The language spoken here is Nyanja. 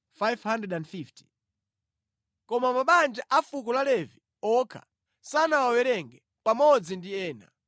Koma mabanja a fuko la Levi okha sanawawerenge pamodzi ndi ena.